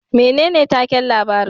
Menene takin labarin